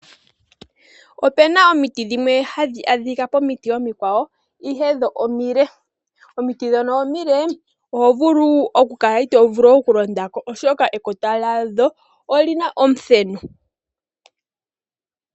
Opena omiti dhimwe hadhi adhika pomiti omikwawo, ihe dho omile. Omiti ndhoka omile, oho vulu oka kala ito vulu okulonda ko, oshoka ekota olyina omuthenu.